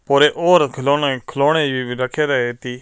ਉਰੇ ਔਰ ਖਿਲੌਣੇ ਖਿਲੌਣੇ ਵੀ ਰੱਖਣ ਰਹਿਤੀ।